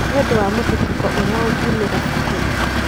nĩ ũndũ wa mũthutũko ũrĩa ũngiumĩra cukuru.